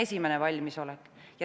See on esiteks.